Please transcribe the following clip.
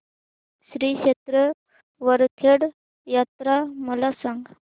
श्री क्षेत्र वरखेड यात्रा मला सांग